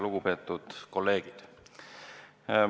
Lugupeetud kolleegid!